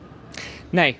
nei